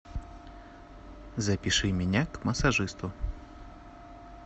запиши меня к массажисту